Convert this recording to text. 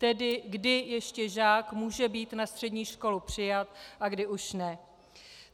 Tedy kdy ještě žák může být na střední školu přijat a kdy už ne.